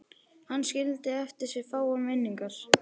Hann skildi eftir sig fáar minningar.